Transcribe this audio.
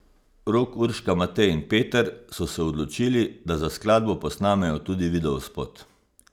Rok, Urška, Matej in Peter so se odločili, da za skladbo posnamejo tudi videospot.